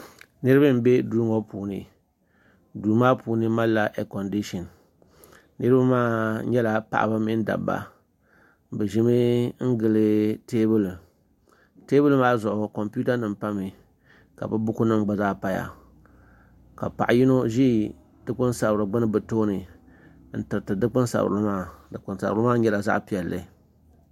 Niraba n bɛ duu ŋo puuni duu maa puuni malila eekondishin niraba maa nyɛla paɣaba mini Dabba bi ʒimi n gili teebuli teebuli maa zuɣu kompiuta nim pami ka bi buku nim gba zaa paya ka paɣa yino ʒi n dikpuni sabiri gbuni bi tooni n tiriti dikpuni sanirili maa dikpuni sabiri maa nyɛla zaɣ piɛlli